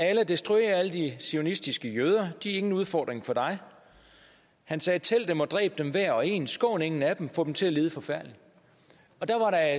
allah destruer alle de zionistiske jøder de er ingen udfordring for dig og han sagde tæl dem og dræb dem hver og en skån ingen af dem få dem til at lide forfærdeligt der